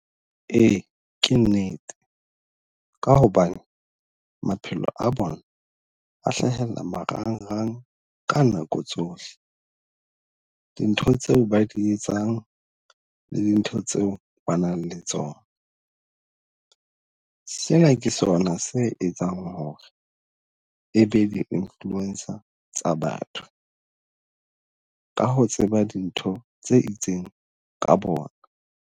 Ee, ke nnete ka hobane maphelo a bona a hlahella marang-rang ka nako tsohle. Dintho tseo ba di etsang le dintho tseo ba nang le tsona. Sena ke sona se etsang hore e be di-influencer tsa batho ka ho tseba dintho tse itseng ka bona.